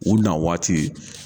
U na waati